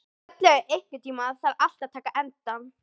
Bjarnlaug, einhvern tímann þarf allt að taka enda.